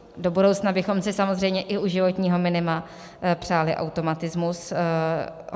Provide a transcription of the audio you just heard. Do budoucna bychom si samozřejmě i u životního minima přáli automatismus.